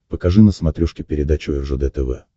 покажи на смотрешке передачу ржд тв